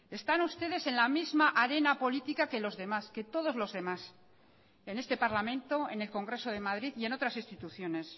están ustedes en la misma arena política que los demás que todos los demás en este parlamento en el congreso de madrid y en otras instituciones